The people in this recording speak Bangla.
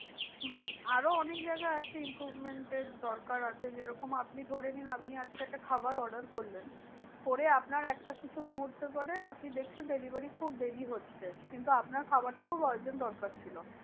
আরো অনেক জায়গা আছে improvement এর দরকার আছে যে রকম আপনি ধরেনিন আপনি আজকে একটা খাবার order করলেন করে আপনার একটা কিছু মুহূর্তের পরে আপনি দেখছেন delivery খুব দেরি হচ্ছে। কিন্তু আপনার খাবারটা খুব urgent দরকার ছিল।